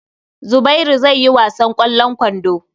Zubairu zai yi wasan ƙwallon kwando.